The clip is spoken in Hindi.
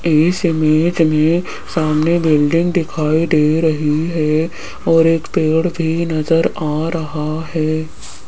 इस इमेज में सामने बिल्डिंग दिखाई दे रही है और एक पेड़ भी नजर आ रहा है।